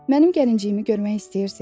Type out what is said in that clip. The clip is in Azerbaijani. Mənim gəlinciyimi görmək istəyirsiz?